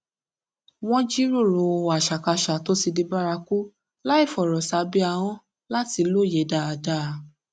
wọn jíròrò àṣàkáṣà tó di bárakú láìfòrò sábẹ ahón láti lóye dáadáa